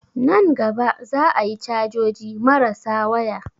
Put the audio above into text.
Nan gaba za a yi cajoji marasa waya